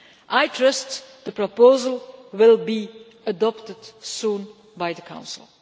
I trust the proposal will be adopted soon by the Council.